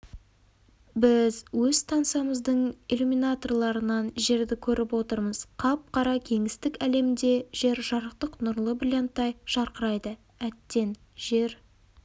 біз өз станциямыздың иллюминаторларынан жерді көріп отырмыз қап-қара кеңістік әлемінде жер-жарықтық нұрлы бриллианттай жарқырайды әттең жер